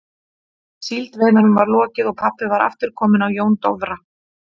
Síldveiðunum var lokið og pabbi var aftur kominn á Jón Dofra.